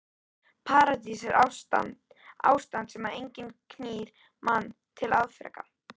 Paradís er ástand þar sem enginn knýr mann til afreka.